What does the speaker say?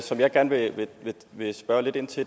som jeg gerne vil spørge lidt ind til